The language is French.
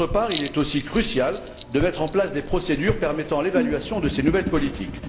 Par ailleurs, il est crucial de mettre en place des procédures permettant l'évaluation de ces nouvelles politiques.